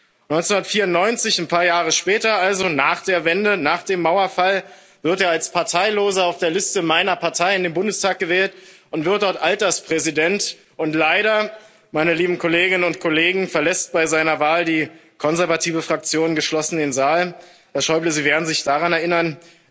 1994 ein paar Jahre später, also nach der Wende, nach dem Mauerfall wird er als Parteiloser auf der Liste meiner Partei in den Bundestag gewählt und wird dort Alterspräsident, und leider, meine lieben Kolleginnen und Kollegen, verlässt bei seiner Wahl die konservative Fraktion geschlossen den Saal. Herr Schäuble, Sie werden sich daran erinnern.